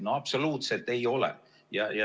No absoluutselt ei ole!